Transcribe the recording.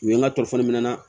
U ye n ka na